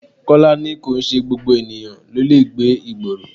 Kọ́lá ni kìí ṣe gbogbo ènìyàn ló lè gbé ìgboro.